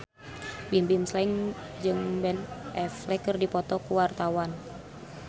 Bimbim Slank jeung Ben Affleck keur dipoto ku wartawan